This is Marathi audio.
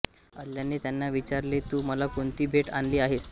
अल्लाने त्यांना विचारले तू मला कोणती भेट आणली आहेस